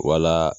Wala